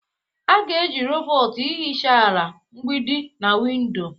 A ga-eji rọbọt ihicha ala, mgbidi, na windo.